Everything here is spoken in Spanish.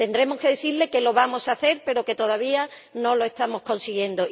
Tendremos que decirles que lo vamos a hacer, pero que todavía no lo estamos consiguiendo.